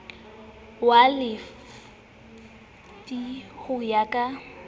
wa lefi ho ya ka